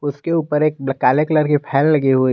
उसके ऊपर एक काले कलर के फैन लगी हुई--